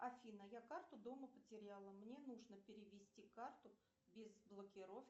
афина я карту дома потеряла мне нужно перевести карту без блокировки